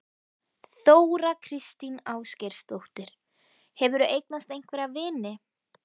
Þóra kristín Ásgeirsdóttir: Hefurðu eignast einhverja vini?